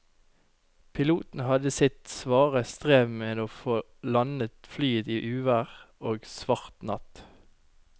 Piloten hadde sitt svare strev med å få landet flyet i uvær og svart natt.